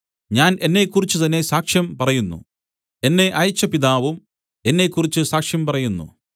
ഞാൻ എന്നെക്കുറിച്ച് തന്നേ സാക്ഷ്യം പറയുന്നു എന്നെ അയച്ച പിതാവും എന്നെക്കുറിച്ച് സാക്ഷ്യം പറയുന്നു